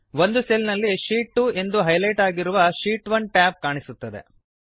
ಒಂದು ಸೆಲ್ ನಲ್ಲಿ ಶೀಟ್ 2 ಎಂದು ಹೈಲೈಟ್ ಆಗಿರುವ ಶೀಟ್ 1 ಟ್ಯಾಬ್ ಕಾಣಿಸುತ್ತದೆ